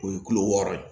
O ye kulo wɔɔrɔ ye